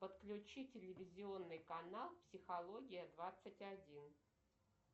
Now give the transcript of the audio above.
подключить телевизионный канал психология двадцать один